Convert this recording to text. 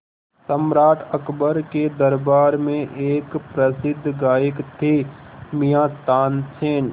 सम्राट अकबर के दरबार में एक प्रसिद्ध गायक थे मियाँ तानसेन